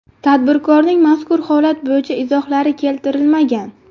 Tadbirkorning mazkur holat bo‘yicha izohlari keltirilmagan.